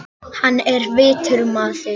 Hann var vitur maður.